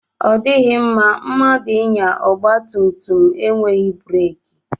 Ọ dịghị mma mmadụ ịnya ọgba tum tum enweghị breki.